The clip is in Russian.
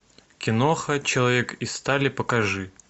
киноха человек из стали покажи